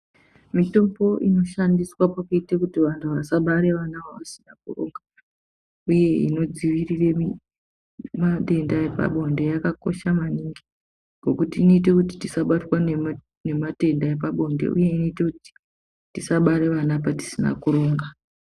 Mitombo inoshandiswa pakuite kuti vantu vasabara vana vavanenge vasina kuronga uye inodzivirire matenda epabonde yakakosha maningi. Ngokuti inoite kuti tisabatwe nematenda epabonde uye inoite kuti tisabare vana patisina kuronga.